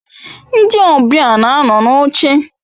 Ndi obia na ano n'oche